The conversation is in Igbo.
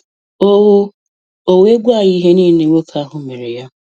O O were gwa ya ihe niile nwoke ahụ mere ya.